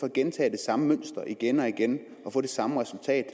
at gentage det samme mønster igen og igen og få det samme resultat